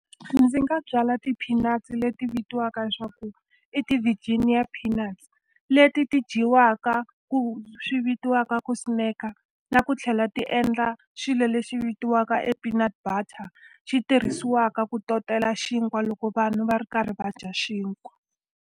Ndzi nga byala xipinachi leti vitiwaka leswaku i ti-Virginia peanuts. Leti ti dyiwaka ku swi vitiwaka ku snack-a, na ku tlhela ti endla xilo lexi vitiwaka e peanut butter, xi tirhisiwaka ku totela xinkwa loko vanhu va ri karhi va dya xinkwa.